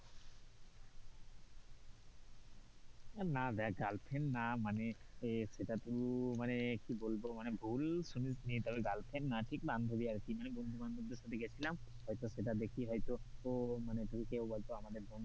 না দেখ girlfriend না মানে সেটা তো মানে কি বলবো মানে ভুল শুনিস নি তবে girlfriend না ঠিক বান্ধবী আর কি মানে বন্ধু বান্ধবদের সাথে গেছিলাম, হয়তো সেটা দেখে হয়তো মানে কেও হয়তো আমাদের,